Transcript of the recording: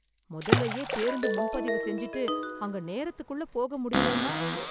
முதல்லயே பேருந்து முன்பதிவு செஞ்சிட்டு, அங்க நேரத்துக்குள்ள போக முடியலன்னா?